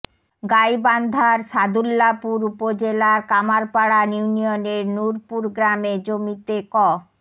গাইবান্ধার সাদুল্যাপুর উপজেলার কামারপাড়া ইউনিয়নের নুরপুর গ্রামে জমিতে ক